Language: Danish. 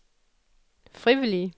frivillige